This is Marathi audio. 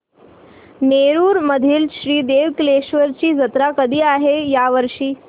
नेरुर मधील श्री देव कलेश्वर ची जत्रा कधी आहे या वर्षी